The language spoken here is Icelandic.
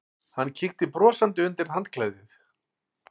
Hann kíkti brosandi undir handklæðið.